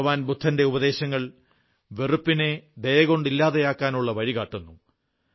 ഭഗവാൻ ബുദ്ധന്റെ ഉപദേശങ്ങൾ വെറുപ്പിനെ ദയകൊണ്ട് ഇല്ലാതെയാക്കാനുള്ള വഴികാട്ടുന്നു